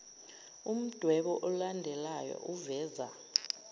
umdwebo olandelayo uveza